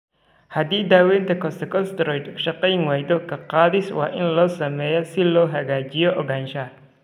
Haddii daawaynta corticosteroid shaqayn waydo, ka-qaadis waa in la sameeyaa si loo xaqiijiyo ogaanshaha.